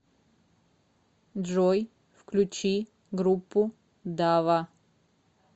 джой включи группу дава